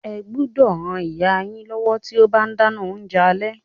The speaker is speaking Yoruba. Ẹ gbúdọ̀ ran ìyá yín lọ́wọ́ tí ó bá ń dáná oúnjẹ alẹ́.